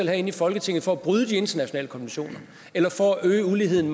herinde i folketinget for at bryde de internationale konventioner eller for at øge uligheden